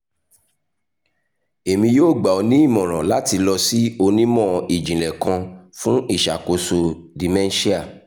emi yoo gba ọ ni imọran lati lọ si onimọ-jinlẹ kan fun iṣakoso dementia